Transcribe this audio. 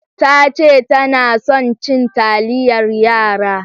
Tace tana son cin taliyar yara.